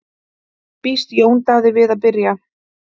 Býst Jón Daði við að byrja?